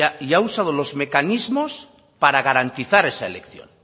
y ha usado los mecanismos para garantizar esa elección